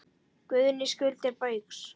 Guðný: Skuldir Baugs?